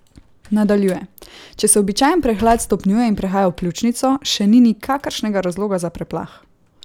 Nadaljuje: "Če se običajen prehlad stopnjuje in prehaja v pljučnico, še ni nikakršnega razloga za preplah.